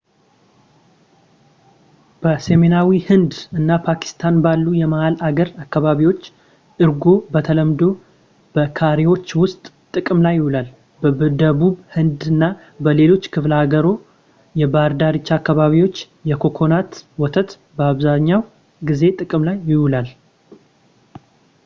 በሰሜናዊ ሕንድ እና ፓኪስታን ባሉ የመሃል አገር አካባቢዎች እርጎ በተለምዶ በከሪዎች ውስጥ ጥቅም ላይ ይውላል በደቡብ ህንድ እና በሌሎች በክፍለ አህጉሩ የባህር ዳርቻ አካባቢዎች የኮኮናት ወተት አብዛኛውን ጊዜ ጥቅም ላይ ይውላል